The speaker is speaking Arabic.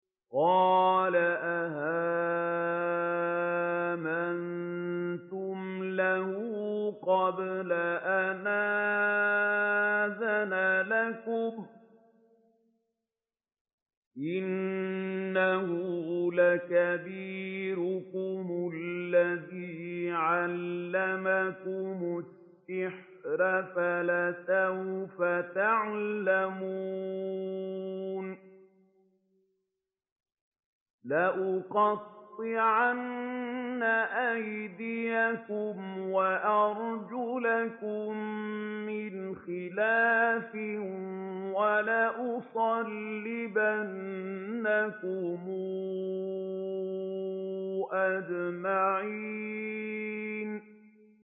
قَالَ آمَنتُمْ لَهُ قَبْلَ أَنْ آذَنَ لَكُمْ ۖ إِنَّهُ لَكَبِيرُكُمُ الَّذِي عَلَّمَكُمُ السِّحْرَ فَلَسَوْفَ تَعْلَمُونَ ۚ لَأُقَطِّعَنَّ أَيْدِيَكُمْ وَأَرْجُلَكُم مِّنْ خِلَافٍ وَلَأُصَلِّبَنَّكُمْ أَجْمَعِينَ